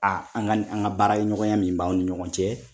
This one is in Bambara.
an ni an ka baara ɲɔgɔnya min b'ani ɲɔgɔn cɛ.